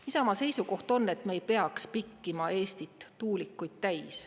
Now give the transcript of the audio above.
Isamaa seisukoht on, et me ei peaks pikkima Eestit tuulikuid täis.